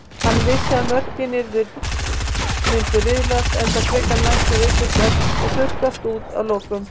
Hann vissi að mörkin myndu riðlast enn frekar næstu vikurnar og þurrkast út að lokum.